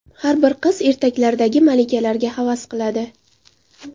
Har bir qiz ertaklardagi malikalarga havas qiladi.